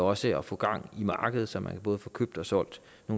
også til at få gang i markedet som man både kan få købt og solgt